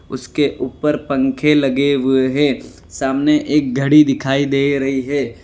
उसके ऊपर पंखे लगे हुए हैं सामने एक घड़ी दिखाई दे रही है।